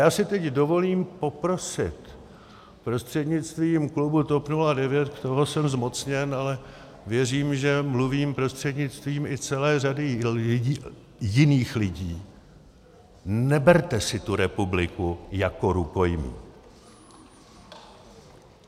Já si teď dovolím poprosit, prostřednictvím klubu TOP 09 k tomu jsem zmocněn, ale věřím, že mluvím prostřednictvím i celé řady jiných lidí, neberte si tu republiku jako rukojmí.